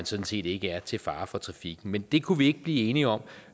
sådan set ikke er til fare for trafikken men det kunne vi ikke blive enige om